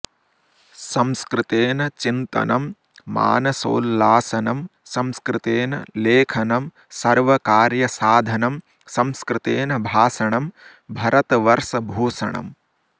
संस्कृतेन चिन्तनं मानसोल्लासनं संस्कृतेन लेखनं सर्वकार्यसाधनं संस्कृतेन भाषणं भरतवर्षभूषणम्